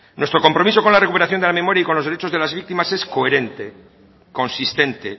nuestro compromiso con la recuperación de la memoria y con los derechos de las víctimas es coherente consistente